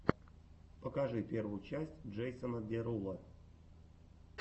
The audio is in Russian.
покажи первую часть джейсона деруло